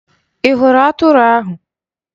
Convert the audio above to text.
Ị hụrụ atụrụ ahụ?